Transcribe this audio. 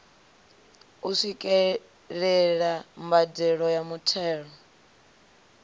u swikelela mbadelo ya muthelo